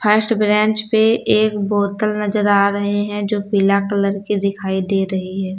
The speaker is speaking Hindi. फर्स्ट ब्रेंच पे एक बोतल नजर आ रहे हैं जो पीला कलर के दिखाई दे रही है।